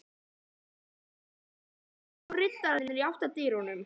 Litlu síðar þramma forsetinn og ritararnir í átt að dyrunum.